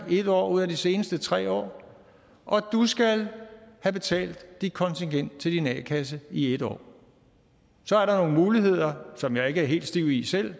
en år ud af de seneste tre år og at du skal have betalt dit kontingent til din a kasse i en år så er der nogle muligheder som jeg ikke er helt stiv i selv